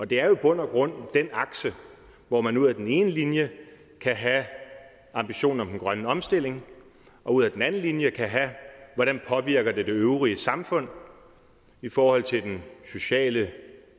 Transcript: det er jo i bund og grund den akse hvor man ud ad den ene linje kan have ambitionen om den grønne omstilling og ud ad den anden linje kan have hvordan påvirker det øvrige samfund i forhold til den sociale